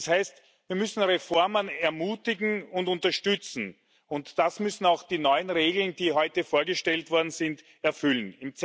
Das heißt, wir müssen Reformen ermutigen und unterstützen, und das müssen auch die neuen Regeln, die heute vorgestellt worden sind, erfüllen.